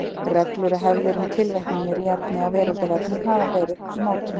Reglur og hefðir um tilvitnanir í efni á Veraldarvefnum hafa verið í mótun.